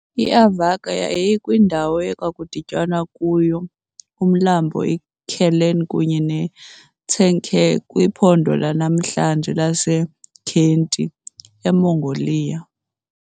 IAvarga yayikwindawo ekudityanwa kuyo uMlambo iKherlen kunye neTsenker, kwiphondo lanamhlanje laseKhentii, eMongolia.